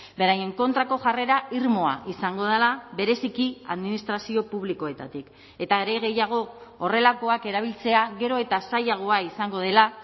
beraien kontrako jarrera irmoa izango dela bereziki administrazio publikoetatik eta are gehiago horrelakoak erabiltzea gero eta zailagoa izango dela